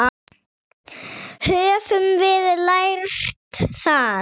Höfum við lært það?